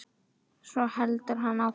Svo heldur hann áfram